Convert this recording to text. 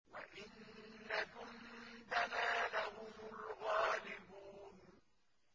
وَإِنَّ جُندَنَا لَهُمُ الْغَالِبُونَ